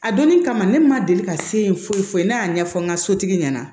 A donnin kama ne ma deli ka se yen foyi foyi ne y'a ɲɛfɔ n ka sotigi ɲɛna